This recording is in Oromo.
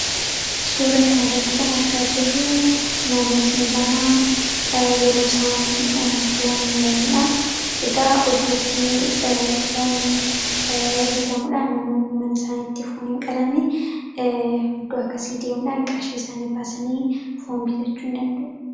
Suura kanirratti kan argaa jirruu namootni lama yeroo isaan foon muraniidha. Egaa oddootti foon bitamuudha namoonni mana isaanitti foon hin qalanni oddoo akkasii deemuudhaan qashii isaanii baasanii foon bitachuu in danda'u.